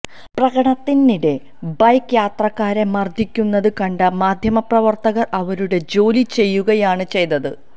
പ്രകടനത്തിനിടെ bike യാത്രക്കാരെ മർദ്ദിക്കുന്നത് കണ്ട മാധ്യമപ്രവർത്തകർ അവരുടെ ജോലി ചെയ്യുകയാണ് ചെയ്തത്